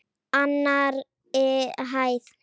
Annarri hæð.